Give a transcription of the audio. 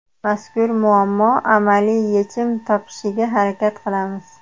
Mazkur muammo amaliy yechim topishiga harakat qilamiz.